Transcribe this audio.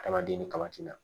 Adamaden ni kaba ti na